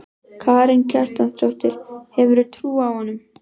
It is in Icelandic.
Karen Kjartansdóttir: Hefurðu trú á honum?